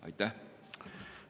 Aitäh!